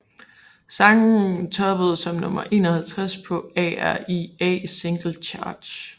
Sangen toppede som nummer 51 på ARIA Singles Chart